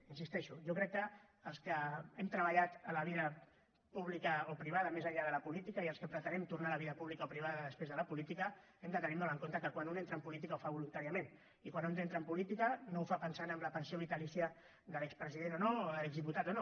hi insisteixo jo crec que els que hem treballat en la vida pública o privada més enllà de la política i els que pretenem tornar a la vida pública o privada després de la política hem de tenir molt en compte que quan un entra en política ho fa voluntàriament i quan un entra en política no ho fa pensant en la pensió vitalícia de l’expresident o no o de l’exdiputat o no